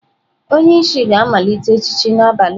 Onye isi ga-amalite echichi n'abalị a.